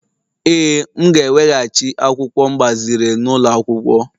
Ee, m ga-eweghachi akwụkwọ m gbaziri n'ụlọ akwụkwọ.